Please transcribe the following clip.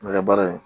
Mɛ kɛ baara ye